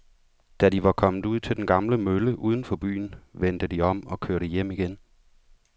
Da de var kommet ud til den gamle mølle uden for byen, vendte de om og kørte hjem igen.